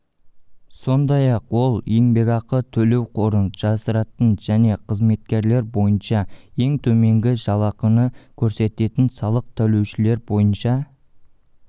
сондай-ақ ол еңбекақы төлеу қорын жасыратын және қызметкерлер бойынша ең төменгі жалақыны көрсететін салық төлеушілер бойынша